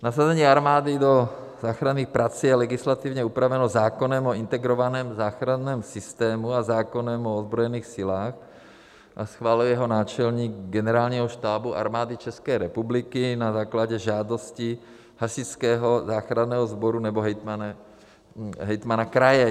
Nasazení armády do záchranných prací je legislativně upraveno zákonem o integrovaném záchranném systému a zákonem o ozbrojených silách a schvaluje ho náčelník Generálního štábu Armády České republiky na základě žádosti Hasičského záchranného sboru nebo hejtmana kraje.